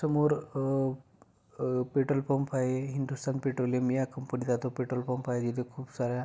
समोर अप अ पेट्रोल पंप आहे हिंदुस्थान पेट्रोलियम या कंपनी चा तो पेट्रोल पंप आहे तिथं खूप साऱ्या--